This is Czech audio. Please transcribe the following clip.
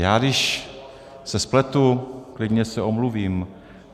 Já když se spletu, klidně se omluvím.